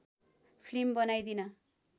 film बनाइदिन